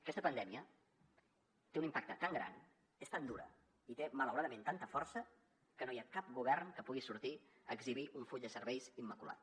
aquesta pandèmia té un impacte tan gran és tan dura i té malauradament tanta força que no hi ha cap govern que pugui sortir a exhibir un full de serveis immaculat